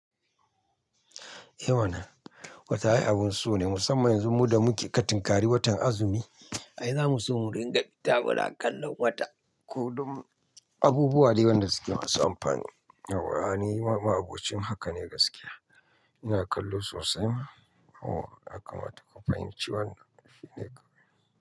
Eh wannan wata ai abun so ne musamman yanzu mu da muke katinkari watan azumi, ai za mu so mu riƙa fita muna kallon wata ko dun abubuwa dai wanda suke masu amfani. Yawwa ni ma ma'abocin haka ne gaskiya ina kallo sosai ma. O yakama ta ku fahinci wannan shi ne kawai.